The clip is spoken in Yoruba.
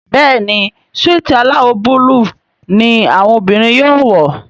Béèni Súìtì alawọ Búlúù ní àwọn obìrin yóò wọ.